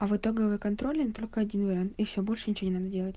а в итоговой контрольной только один вариант и всё больше ничего не надо делать